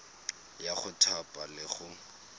ya go thapa le go